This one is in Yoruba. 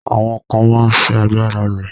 Àwọn ká máa sì àgbára ló.